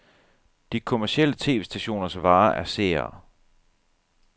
De kommercielle tv-stationers vare er seere.